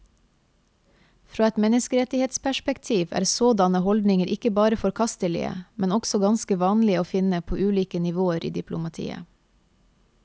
Fra et menneskerettighetsperspektiv er sådanne holdninger ikke bare forkastelige, men også ganske vanlige å finne på ulike nivåer i diplomatiet.